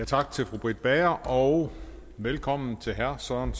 tak til fru britt bager og velkommen til herre søren